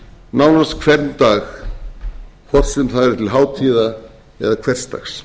nánast hvern dag hvort sem það er til hátíðar eða hversdags